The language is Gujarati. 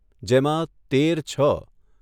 જેમાં તેર છ